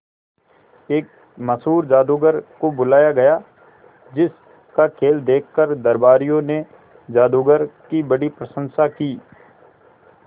एक मशहूर जादूगर को बुलाया गया जिस का खेल देखकर दरबारियों ने जादूगर की बड़ी प्रशंसा की